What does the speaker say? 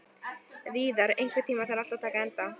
Víðar, einhvern tímann þarf allt að taka enda.